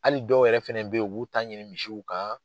Hali dɔw yɛrɛ fɛnɛ bɛ ye u b'u ta ɲini misiw kan.